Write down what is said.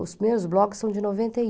Os meus blogs são de noventa e oito.